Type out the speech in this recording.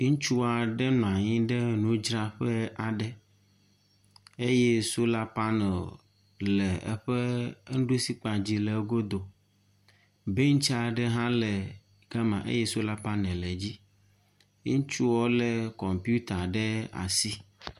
Ŋutsu aɖe nɔ anyi ɖe nudzraƒe aɖe eye sola panel le eƒe enuɖusi kpa dzi le egodo. Bɛntsi aɖe hã le ga ma eye sola panel le edzi. Ŋutsu lé kɔmpita ɖe asi.